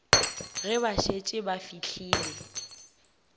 ge ba šetše ba fihlile